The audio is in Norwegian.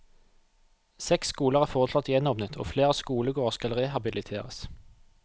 Seks skoler er foreslått gjenåpnet og flere skolegårder skal rehabiliteres.